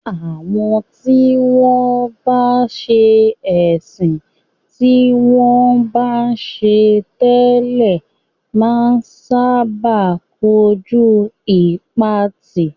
Àwọn tí wọ́n bá sẹ́ ẹ̀sìn tí wọ́n bá ń ṣe tẹ́lẹ̀ máa ń sábà kojú ìpatì.